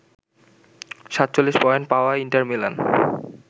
৪৭ point পাওয়া Inter Milan